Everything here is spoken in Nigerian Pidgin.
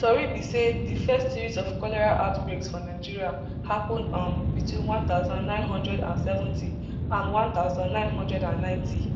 tori be say di first series of cholera outbreaks for nigeria happun um between one thousand, nine hundred and seventy and one thousand, nine hundred and ninety